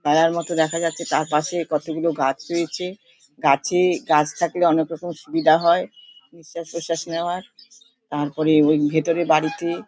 ঘেরার মতো দেখা যাচ্ছে তার পাশে কতগুলো গাছ রয়েছে। গাছে গাছ থাকলে অনেকরকমের সুবিধা হয় নিঃশাস প্রশ্বাস নেওয়া হয়। তারপরে ওই ভেতরে বাড়িতে --